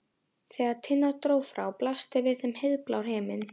Þegar Tinna dró frá blasti við þeim heiðblár himinn.